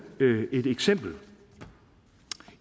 et eksempel